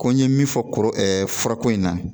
Ko n ye min fɔ furako in na